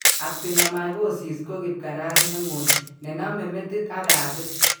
Actinomycosis ko kibkaras ne ngoy ne naame metit ak katit